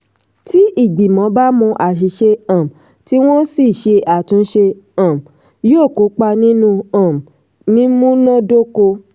tí ìgbìmọ̀ bá mọ àṣìṣe um tí wọ́n sì ṣe àtúnṣe um yóò kópa nínú um mímúnádóko.